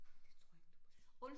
Det tror jeg ikke du må sige